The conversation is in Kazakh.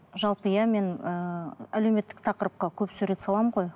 жалпы иә мен ііі әлеуметтік тақырыпқа көп сурет саламын ғой